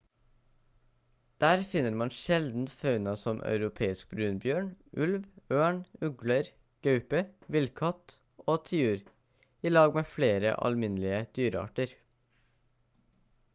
der finner man sjelden fauna som europeisk brunbjørn ulv ørn ugler gaupe villkatt og tiur i lag med flere alminnelige dyrearter